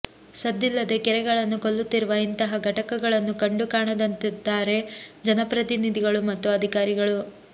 ಸದ್ದಿಲ್ಲದೆ ಕೆರೆಗಳನ್ನು ಕೊಲ್ಲುತ್ತಿರುವ ಇಂತಹ ಘಟಕಗಳನ್ನು ಕಂಡೂ ಕಾಣದಂತಿದ್ದಾರೆ ಜನಪ್ರತಿನಿಧಿಗಳು ಮತ್ತು ಅಧಿಕಾರಿಗಳು